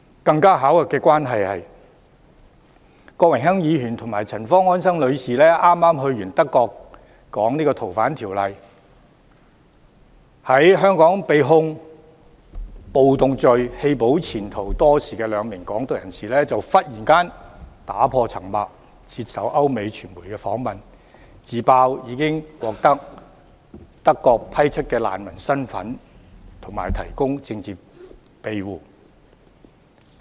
更巧合的是，郭榮鏗議員及陳方安生女士剛出訪德國表達對《逃犯條例》的意見，其後在香港被控暴動罪、棄保潛逃多時的兩名"港獨"人士就突然打破沉默，接受歐美傳媒訪問，自揭已獲德國批出難民身份及提供政治庇護。